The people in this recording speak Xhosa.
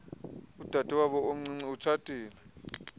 udadewabo omncinci etshatile